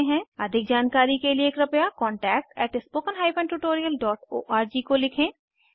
अधिक जानकारी के लिए कृपया contactspoken tutorialorg को लिखें